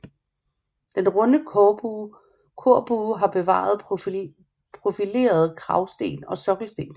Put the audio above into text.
Den runde korbue har bevaret profilerede kragsten og sokkelsten